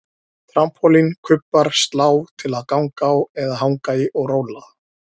Trampólín, kubbar, slá til að ganga á eða hanga í og róla